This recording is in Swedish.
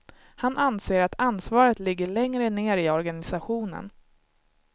Han anser att ansvaret ligger längre ner i organisationen.